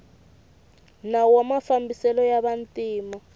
nawu wa mafambiselo ya vantima